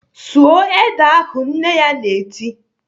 "Sụọ ede ahụ!" Nne ya na-eti